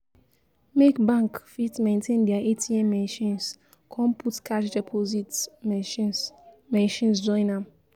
make bank fit maintain dia ATM machines kon put cash deposit machines machines join am